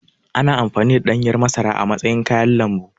Ana amfani da ɗanyar masara a matsayin kayan lambu.